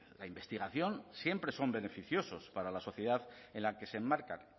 la investigación siempre son beneficiosos para la sociedad en la que se enmarcan